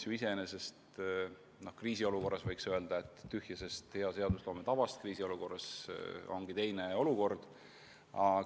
Kriisiolukorras võiks ju öelda, et tühja sellest hea seadusloome tavast, kriisi korral ongi olukord teistsugune.